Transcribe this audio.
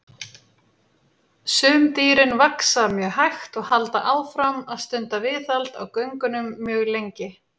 Sum dýrin vaxa mjög hægt og halda áfram að stunda viðhald á göngunum mjög lengi.